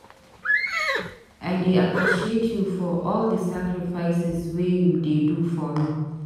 I dey appreciate you for all di sacrifices wey you dey do for me.